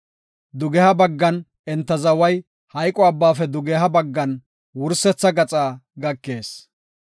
Dugeha baggan enta zaway Maxine Abbaafe dugeha baggan wursetha gaxa gakees.